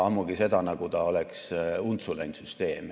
Ammugi ei ole nii, nagu see süsteem oleks untsu läinud.